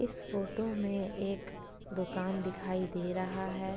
इस फोटो में एक दुकान दिखाई दे रहा है।